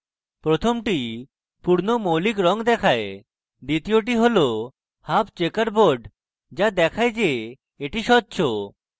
প্রথমটি pure মৌলিক রঙ দেখায় দ্বিতীয়টি হল half checker board the দেখায় the the স্বচ্ছ